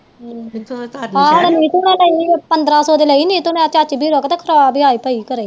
ਨੀਤੂ ਨੇ ਲਈ ਪੰਦਰਾਂ ਸੋ ਦੀ ਲਈ ਨੀਤੂ ਨੇ